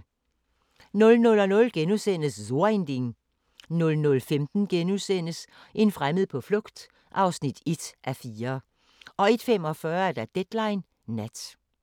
00:00: So ein Ding * 00:15: En fremmed på flugt (1:4)* 01:45: Deadline Nat